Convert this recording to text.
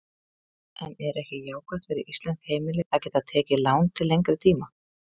En er ekki jákvætt fyrir íslensk heimili að geta tekið lán til lengri tíma?